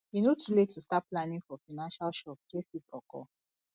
e no too late to start planning for financial shocks wey fit occur